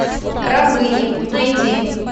рабыни найти